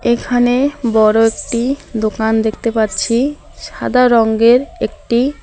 এখানে বড় একটি দোকান দেখতে পারছি সাদা রংয়ের একটি --